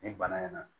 Ni bana in na